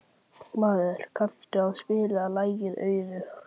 Marel, kanntu að spila lagið „Auður“?